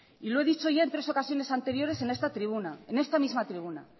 y lo he dicho ya en tres ocasiones anteriores en esta tribuna en esta misma tribuna